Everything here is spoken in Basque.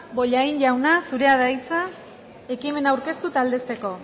bollain jauna zurea da hitza ekimena aurkeztu eta aldezteko